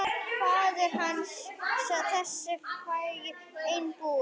Faðir hans, þessi frægi einbúi.